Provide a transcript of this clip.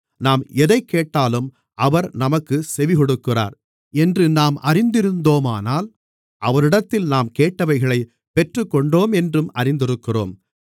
நாம் எதைக்கேட்டாலும் அவர் நமக்குச் செவிகொடுக்கிறார் என்று நாம் அறிந்திருந்தோமானால் அவரிடத்தில் நாம் கேட்டவைகளைப் பெற்றுக்கொண்டோமென்றும் அறிந்திருக்கிறோம்